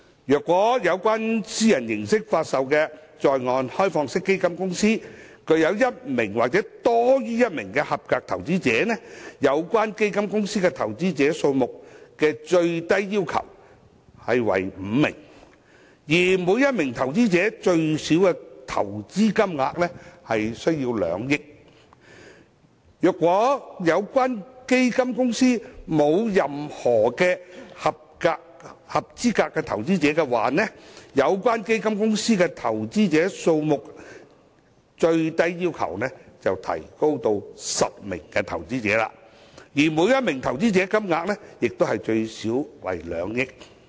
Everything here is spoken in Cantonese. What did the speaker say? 如以私人形式發售的在岸開放式基金公司具有一名或多於一名"合資格投資者"，有關基金公司的投資者數目下限為5名，而每名合資格投資者需投資最少2億元；如有關基金公司沒有任何"合資格投資者"，該基金公司的投資者數目最低要求便提高至10名，而每名投資者投資金額最少為 2,000 萬元。